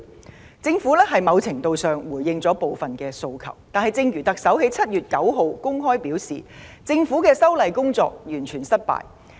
儘管政府在某程度上回應了部分訴求，但正如特首在7月9日公開承認，政府的修例工作"完全失敗"。